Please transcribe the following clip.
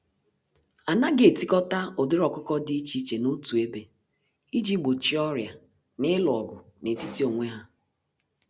Anaghị etikọta ụdịrị ọkụkọ dị iche iche n'otu ebe, iji gbochie ọrịa na ịlụ ọgụ n'etiti onwe ha.